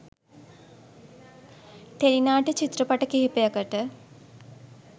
Tele නාට්‍ය චිත්‍රපට කිහිපයකට.